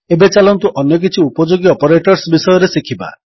ଏବେ ଚାଲନ୍ତୁ ଅନ୍ୟ କିଛି ଉପଯୋଗୀ ଅପରେଟର୍ସ ବିଷୟରେ ଶିଖିବା